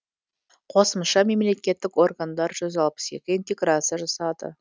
қосымша мемлекеттік органдар жүз алпыс екі интеграция жасады